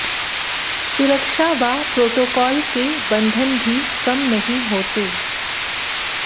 सुरक्षा व प्रोटोकाल के बंधन भी कम नहीं होते